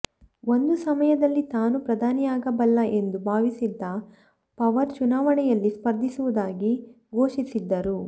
ಒಂದು ಸಮಯದಲ್ಲಿ ತಾನೂ ಪ್ರಧಾನಿಯಾಗಬಲ್ಲ ಎಂದು ಭಾವಿಸಿದ್ದ ಪವಾರ್ ಚುನಾವಣೆಯಲ್ಲಿ ಸ್ಪರ್ಧಿಸುವುದಾಗಿ ಘೋಷಿಸಿದ್ದರು